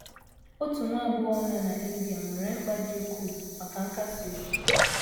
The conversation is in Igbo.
Otu nwa agbọghọ nọ n’India nwere mkpa dị ukwuu maka nkasi obi.